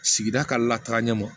Sigida ka lataga ɲɛma